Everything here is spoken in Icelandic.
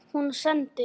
Hún sendir